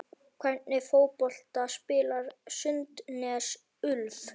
Hvernig fótbolta spilar Sandnes Ulf?